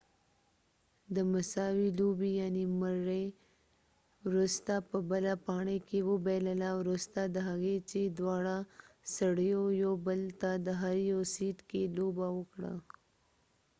مري murray د مساوي لوبې وروسته په بله پاڼۍ کې وبایلله وروسته د هغې چې دواړه سړیو یو بل ته د هر یو سیټ کې لوبه وکړه